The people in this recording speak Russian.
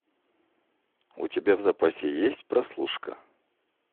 у тебя в запасе есть прослушка